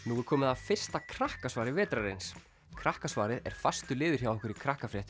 nú er komið að fyrsta vetrarins krakkasvarið er fastur liður hjá okkur í